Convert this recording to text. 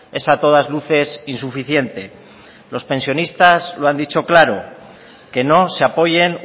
es a todas luces insuficiente los pensionistas lo han dicho claro que no se apoyen